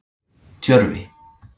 Tjörvi